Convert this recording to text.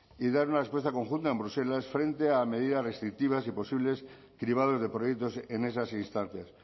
y dar una respuesta conjunta en bruselas frente a medidas restrictivas y posibles cribados de proyectos en esas instancias